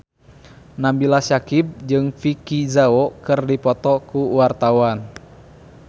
Nabila Syakieb jeung Vicki Zao keur dipoto ku wartawan